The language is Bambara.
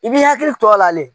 I b'i hakili to a la de